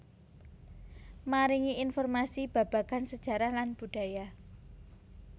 Maringi informasi babagan sejarah lan budaya